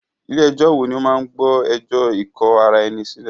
Ilé ẹ̀jọ wo ní o máà gbọ́ ẹjọ́ ikò ará ẹni sílẹ̀?